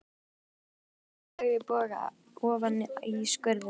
Logandi sígarettustubbur flaug í boga ofan í skurðinn.